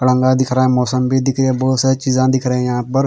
आदंगा दिख रहा हैं मोसंबी दिखे बहुत सारा चिजा दिख रहे हैं यहाँ पर--